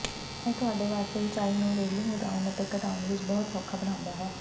ਇਹ ਤੁਹਾਡੇ ਵਾਸਤੇ ਉਚਾਈ ਨੂੰ ਰੇਲਿੰਗ ਵਧਾਉਣ ਅਤੇ ਘਟਾਉਣ ਵਿੱਚ ਬਹੁਤ ਸੌਖਾ ਬਣਾਉਂਦਾ ਹੈ